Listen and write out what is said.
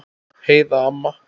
Heiða amma.